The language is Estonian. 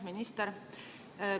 Minister!